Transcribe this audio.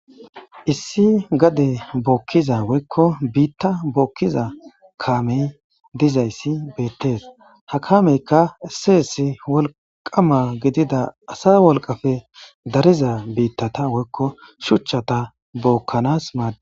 Issi gade bookkiza woykko biitta bookkiza kaamey dizayssi beettees ha kaameykka esseessi wolqama gidida asa wolqafe dariza biittata woykko shuchchata bookkanas maades.